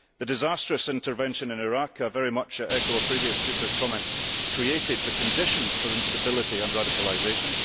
The disastrous intervention in Iraq and I very much echo a previous speaker's comments created the conditions for instability and radicalisation.